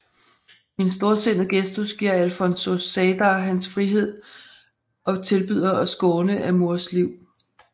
I en storsindet gestus giver Alfonso Zeidar hans frihed og tilbyder at skåne Amurs liv